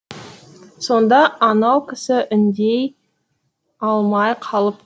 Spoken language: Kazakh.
сонда анау кісі үндей алмай қалып